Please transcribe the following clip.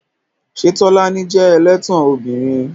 Ṣé Tolani jẹ́ ẹlẹ́tàn ọmọbìnrin?